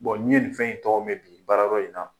n ye nin fɛn in tɔgɔ mɛn bi baara yɔrɔ in na.